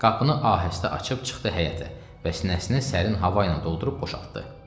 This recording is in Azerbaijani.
Qapını ahəstə açıb çıxdı həyətə və sinəsini sərin hava ilə doldurub boşaltdı.